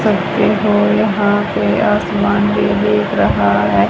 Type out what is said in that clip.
कैसे हो यहां पे समान भी दिख रहा है।